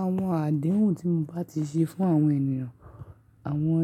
Àwọn àdéhùn tí mo bá ti ṣe fún àwọn ènìyàn, àwọn